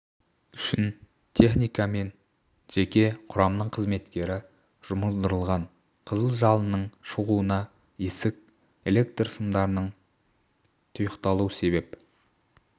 үшін техника мен жеке құрамның қызметкері жұмылдырылған қызыл жалынның шығуына есік электр сымдарының тұйықталуы себеп